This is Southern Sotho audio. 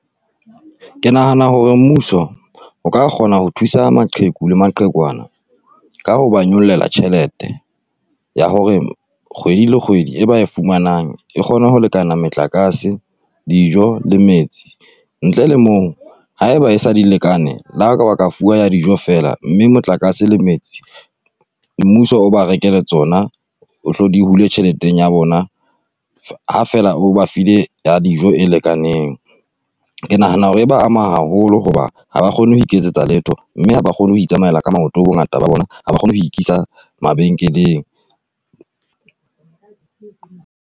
Ke nahana hore mmuso o ka kgona ho thusa maqheku le maqhekwana ka ho ba nyollela tjhelete ya hore kgwedi le kgwedi e ba e fumanang e kgone ho lekana motlakase, dijo le metsi. Ntle le mo haeba e sa di lekane le ha kaba ka fuwa ya dijo fela, mme motlakase le metsi mmuso o ba rekele tsona, o tle di hule tjhelete ya bona ha fela o ba file ya dijo e lekaneng. Ke nahana hore e ba ama haholo hoba ha ba kgone ho iketsetsa letho mme ha ba kgone ho itsamaela ka maoto bongata ba bona ha ba kgone ho ikisa mabenkeleng.